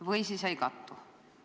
Või nad ei kattu?